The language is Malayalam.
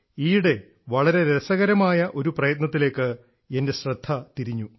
ഈയിടെ വളരെ രസകരമായ ഒരു പ്രയത്നത്തിലേക്ക് എൻറെ ശ്രദ്ധ തിരിഞ്ഞു